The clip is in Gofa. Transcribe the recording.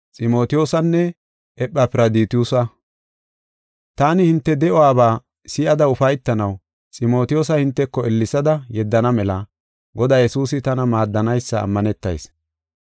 Taani hinte de7uwabaa si7ada ufaytanaw Ximotiyoosa hinteko ellesada yeddana mela Godaa Yesuusi tana maaddanaysa ammanetayis.